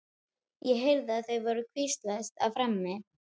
Ég heyrði að þau voru að hvíslast á frammi.